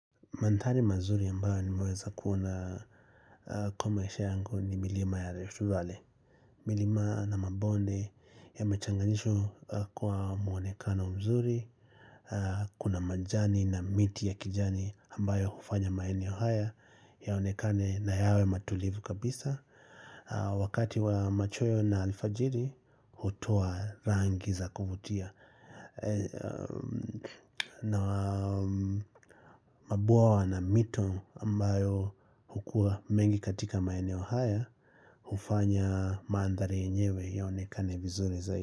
Mandhari mazuri ambayo nimeweza kuona kwa maisha yangu ni milima ya Rift valley. Milima na mabonde yamechanganishwa kwa muonekano mzuri. Kuna majani na miti ya kijani ambayo hufanya maeneo haya yaonekane na yawe matulivu kabisa. Wakati wa machweo na alfajiri, hutoa rangi za kuvutia. Na mabwawa na mito ambayo hukuwa mengi katika maeneo haya hufanya mandhari yenyewe yaonekane vizuri zaidi.